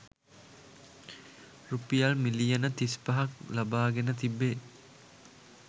රුපියල් මිලියන තිස්පහක් ලබාගෙන තිබේ